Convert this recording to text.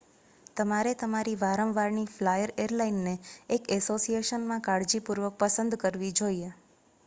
તમારે તમારી વારંવારની ફ્લાયર એરલાઇનને એક એસોસિયેશનમાં કાળજીપૂર્વક પસંદ કરવી જોઈએ